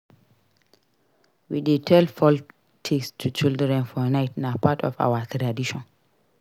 We dey tell folktales to children for night; na part of our tradition.